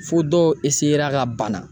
Fo dɔw ka bana.